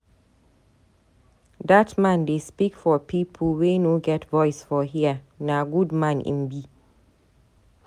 Dat man dey speak for pipo wey no get voice for here, na good man im be.